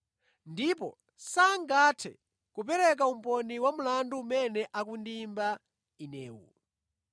Ndipo sangathe kupereka umboni wa mlandu umene akundiyimba inewu.